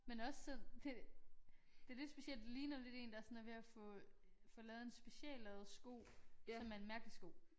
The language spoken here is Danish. Men også så det det lidt specielt ligner lidt én der sådan er ved at få få lavet en speciallavet sko som er en mærkelig sko